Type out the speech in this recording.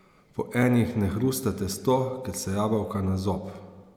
Po enih ne hrusta testo, ker so jabolka na zob.